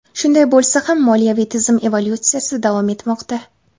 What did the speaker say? Shunday bo‘lsa ham, moliyaviy tizim evolyutsiyasi davom etmoqda.